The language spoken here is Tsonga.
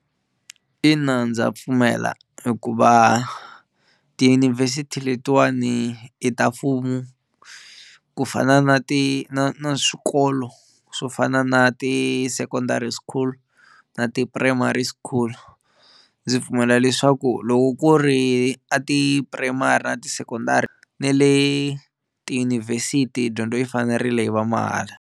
Ina ndza pfumela hikuva tiyunivhesiti letiwani i ta mfumo ku fana na ti na na swikolo swo fana na ti-secondary school na ti-primary school, ndzi pfumela leswaku loko ku ri a ti-primary na ti-secondary ne le tiyunivhesiti dyondzo yi fanerile yi va mahala.